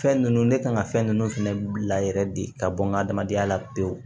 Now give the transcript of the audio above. Fɛn ninnu ne kan ka fɛn nunnu fɛnɛ bila yɛrɛ de ka bɔ n ka adamadenya la pewu